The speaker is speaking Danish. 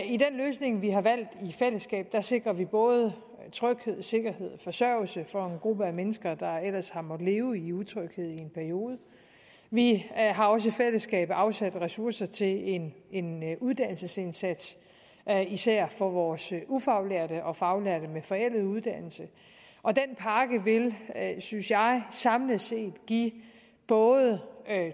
i den løsning vi har valgt i fællesskab sikrer vi både tryghed sikkerhed og forsørgelse for en gruppe af mennesker der ellers har måttet leve i utryghed i en periode vi har også i fællesskab afsat ressourcer til en en uddannelsesindsats især for vores ufaglærte og faglærte med forældet uddannelse og den pakke vil synes jeg samlet set give både